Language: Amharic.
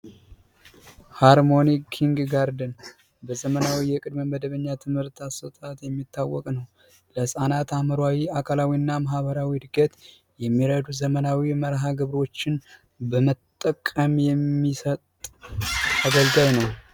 ሃርሞኒ ኪንግጋርተን በዘመናዊ መደበኛ የትምህርት አሰጣጥ የሚታወቅ ነው፤ በህፃናት አካላዊ፣ አእምሮአዊና ማህበራዊ ዕርገት የሚረዱ ዘመናዊ መርሀግብሮችን በመጠቀም የሚሰጥ አገልጋይ ነው።